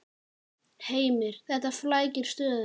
Heimir: Þetta flækir stöðuna?